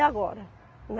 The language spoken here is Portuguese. Agora, né?